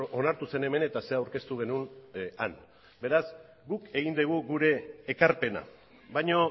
onartu zen hemen eta zer aurkeztu genuen han beraz guk egin dugu gure ekarpena baina